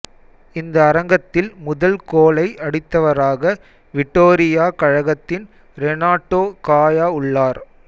இந்த அரங்கத்தில் முதல் கோலை அடித்தவராக விடோரிய கழகத்தின் ரெனாட்டோ காயா உள்ளார்